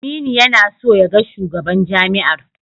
Aminu yana so ya ga shugaban jami'ar.